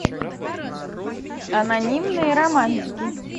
анонимные романтики